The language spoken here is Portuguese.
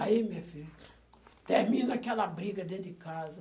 Aí, minha filha, termina aquela briga dentro de casa.